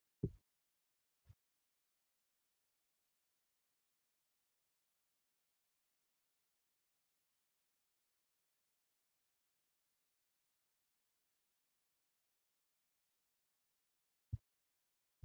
kophee argaa kan jirrudha. kunis kophee baayyee bareeduufi baayyee bareedudha. innis uffata irraa kan hojjatame yoo ta'u sharaa jedhamuun yeroo baayyee kan beekkamuufi yeroo baayyee namoonni ispoortii hojjatan kan kaawwatanidha.